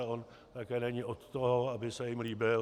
A on také není od toho, aby se jim líbil.